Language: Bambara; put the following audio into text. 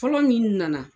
Fɔlɔ min nana